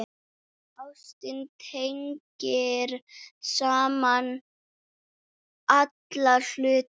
Ástin tengir saman alla hluti.